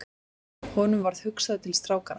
Honum varð hugsað til strákanna.